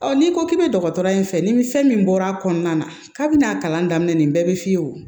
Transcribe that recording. n'i ko k'i bɛ dɔgɔtɔrɔya in fɛ ni fɛn min bɔra a kɔnɔna na k'a bɛ n'a kalan daminɛ nin bɛɛ bɛ f'i ye o